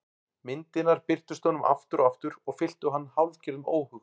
Myndirnar birtust honum aftur og aftur og fylltu hann hálfgerðum óhug.